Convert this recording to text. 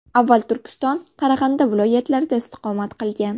Avval Turkiston, Qarag‘anda viloyatlarida istiqomat qilgan.